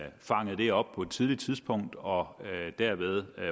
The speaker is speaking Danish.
fangede det op på et tidligt tidspunkt og derved